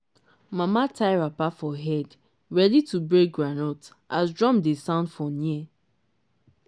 mama tie wrapper for head ready to break groundnut as drum dey sound for near